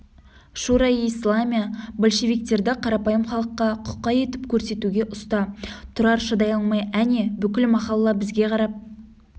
шуро-и-исламия большевиктерді қарапайым халыққа құқай етіп көрсетуге ұста тұрар шыдай алмай әне бүкіл махалла бізге қарап